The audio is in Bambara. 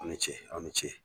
Aw ni ce, aw ni ce